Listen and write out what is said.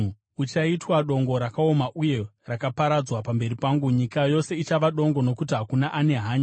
Uchaitwa dongo rakaoma uye rakaparadzwa pamberi pangu; nyika yose ichava dongo nokuti hakuna ane hanya.